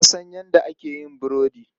Na san yadda ake yin burudi.